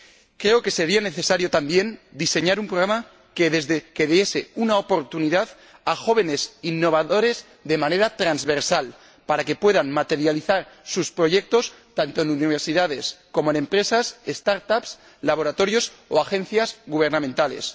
Creo que sería necesario también diseñar un programa que diese una oportunidad a jóvenes innovadores de manera transversal, para que puedan materializar sus proyectos tanto en universidades como en empresas, start ups laboratorios o agencias gubernamentales.